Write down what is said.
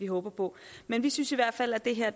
håber men vi synes i hvert fald det her